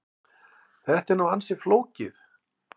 Þetta er nú ansi flókið.